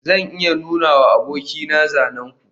zan iya nunawa abokaina zanen ku